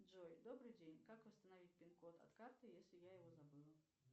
джой добрый день как восстановить пин код от карты если я его забыла